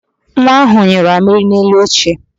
Nwa ahụ nyụrụ amịrị n'elu oche